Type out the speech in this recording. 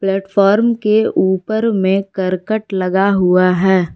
Platform के ऊपर में करकट लगा हुआ है।